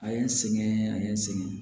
A ye n sɛgɛn a ye n sɛgɛn